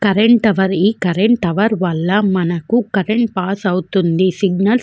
Current tower వాల మనకి current pass అవుతుంది. సిగ్నల్స్ --